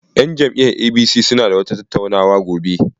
Yan jam'iyyar APC suna da wata tattauna wa gobe.